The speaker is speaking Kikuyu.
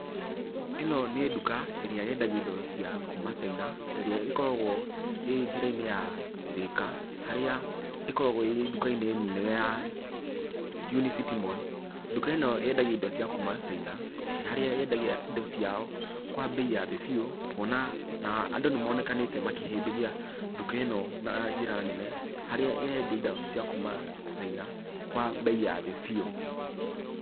Ĩno nĩ nduka ĩrĩa yendagia indo cia kuuma China, ĩrĩa ĩkoragwo ĩ njĩra-inĩ ya Thĩka, harĩa ĩkoragwo ĩ nduka-inĩ nene ya Unicity Mall. Nduka ĩno yendagia indo cia kuuma China, harĩa yendagia indo ciao kwa mbei ya thĩ biũ, kuona na andũ nĩmonekanĩte makĩhĩmbĩria nduka ĩno na njĩra nene, harĩa ĩrendia indo cia kuuma China, kwa mbei ya thĩ biũ.